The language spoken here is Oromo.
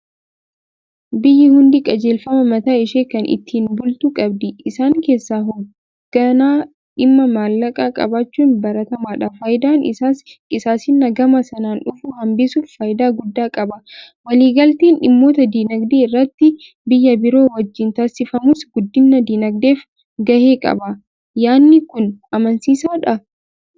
Biyyi hundi qajeelfama mataa ishee kan ittiin bultu qabdi. Isaan keessaa hoogganaa dhimma maallaqaa qabaachuun baratamaadha. Faayidaan isaas qisaasa'insa gama sanaan dhufu hambisuuf faayidaa guddaa qaba. Waliigalteen dhimmoota diinagdee irratti biyya biroo wajjin taasifamus guddina diinagdeef gahee qaba. Yaanni kun amansiisaadhaa?